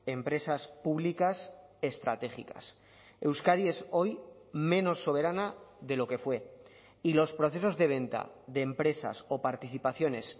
empresas públicas estratégicas euskadi es hoy menos soberana de lo que fue y los procesos de venta de empresas o participaciones